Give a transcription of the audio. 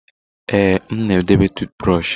Ee, m na edobe tụụt brọshị.